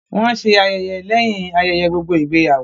Wọ́n ṣé ayẹyẹ lẹ́yìn ayẹyẹ gbogbo ìgbéyàwó